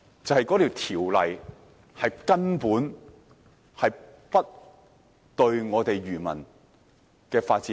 就是由於法例根本不能保障漁業的發展。